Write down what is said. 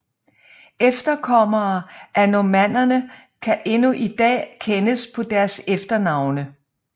Efterkommere af normannerne kan endnu i dag kendes på deres efternavne